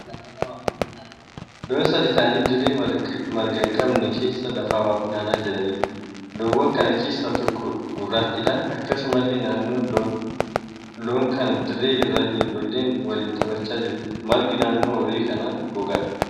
Loon sadii ta'aanii dirree marga hin qabne keessa lafaa waa funaanaa jiraniidha. Loowwan kana keessaa tokko gurraattiidha. Akkasumallee naannoo loon kanaa dirree irra ijoolleen waliin taphachaa jiru. Margi naannoo horii kanaa gogaadha.